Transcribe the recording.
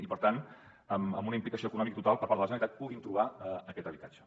i per tant amb una implicació econòmica total per part de la generalitat puguin trobar aquest habitatge